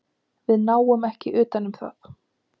Við náum ekki utan um það.